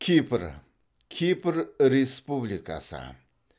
кипр кипр республикасы